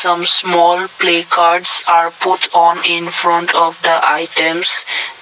some small placards are put on infront of the items.